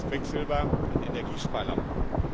Da geht es um das Quecksilber in Energiesparlampen.